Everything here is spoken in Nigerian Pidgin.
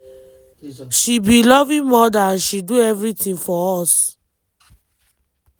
she be loving mother and she do everything for us.